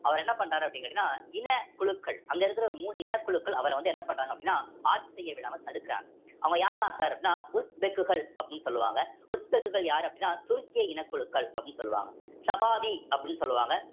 அவர் என்ன பண்றாரு அப்படின்னு கேட்டீங்கன்னா இனக்குழுக்கள் அங்க இருக்கிற ஒரு மூன்று இனக்குழுக்கள் அவர வந்து என்ன பண்றாங்க அப்படின்னா ஆட்சி செய்ய விடாம தடுக்குறாங்க அவங்க யாரெல்லாம் sir அப்படின்னா உஸ்பெக்குகள் அப்படின்னு சொல்லுவாங்க உஸ்பெக்குகள் யாரு அப்படின்னா துருக்கிய இனக்குழுக்கள் அப்படின்னு சொல்லுவாங்க சபாதி அப்படின்னு சொல்லுவாங்க